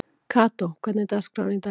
Kató, hvernig er dagskráin í dag?